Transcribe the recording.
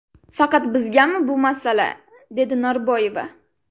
Faqat bizgami bu masala?”, – dedi Norboyeva.